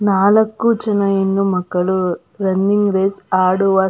ನಾಲಕ್ಕು ಜನ ಹೆಣ್ಣುಮಕ್ಕಳು ರನ್ನಿಂಗ್ ರೇಸ್ ಆಡುವ.